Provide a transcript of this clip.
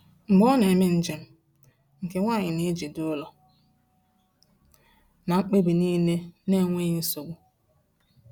Mgbe ọ na-eme njem, nke nwanyị na-ejide ụlọ na mkpebi niile n’enweghị nsogbu.